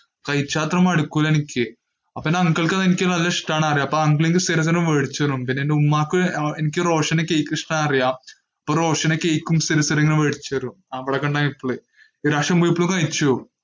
കഴിച്ചാൽ മടുക്കില്ല എനിക്ക്. അപ്പോ uncle ക്ക് എനിക്ക് അത് നല്ല ഇഷ്ടം ആണെന്ന് അറിയാം അപ്പോ uncle എനിക്ക് സ്ഥിരം സ്ഥിരം മേടിച്ചു തരും. പിന്നെ എന്റെ ഉമ്മക്കും, എനിക്കും റോഷനും കേക്ക് ഇഷ്ടം ആണെന്ന് അറിയാം, അപ്പോ റോഷനും കേക്ക് സ്ഥിരം സ്ഥിരം മേടിച്ചു തരും. ഈ പ്രാവശ്യം പോയപ്പോഴും കഴിച്ചു.